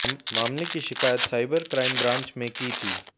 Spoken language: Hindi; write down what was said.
मामले की शिकायत सायबर क्राइम ब्रांच में की थी